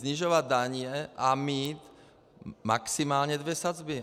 Snižovat daně a mít maximálně dvě sazby.